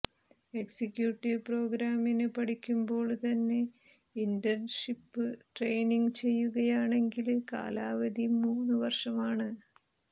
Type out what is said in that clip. executive പ്രോഗ്രാമിന് പഠിക്കുമ്പോള് തന്നെ ഇന്റന്ഷിപ്പ് ട്രെയിനിങ് ചെയ്യുകയാണെങ്കില് കാലാവധി മൂന്ന് വര്ഷമാണ്